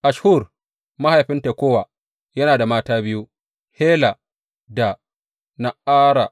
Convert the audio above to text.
Asshur mahaifin Tekowa yana da mata biyu, Hela da Na’ara.